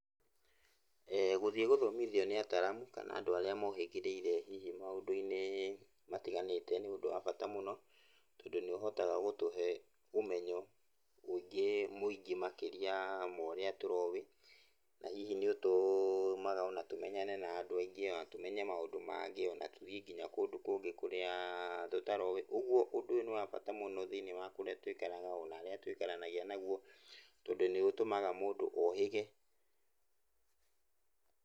Gũthiĩ gũthomithio nĩ ataalamu kana andũ arĩa mohĩgĩrĩire hihi maũndũ-inĩ matiganĩte nĩ ũndũ wa bata mũno, tondũ nĩũhotaga gũtũhe ũmenyo mũingĩ mũingĩ makĩria ma ũrĩa tũrowĩ, na hihi nĩũtũmaga ona tũmenyane na andũ aingĩ ,ona tũmenya maũndũ mangĩ, ona tũthiĩ ona kũndũ kũngĩ kũrĩa tũtaroĩ. Ũguo ũndũ ũyũ nĩ wa bata mũno thĩiniĩ wa kũrĩa tũikaraga ona arĩa tũikaranagia naguo, tondũ nĩũtũmaga mũndũ ohĩge.